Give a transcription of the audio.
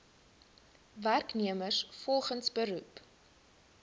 werknemers volgens beroep